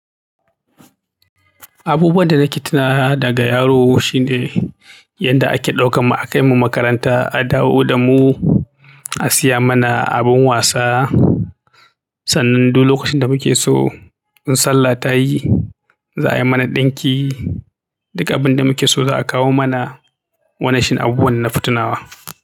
Abubuwan da nake tuna daga yaro shine yanda ake ɗaukan mu akai mu makaranta, a dawo da mu, a siya mana abin wasa. Sannan duk lokacin da muke so in Sallah ta yi, za a yi mana ɗinki. Duk abin da muke so za a kawo mana. Wannan shi ne abubuwan da nafi tunawa.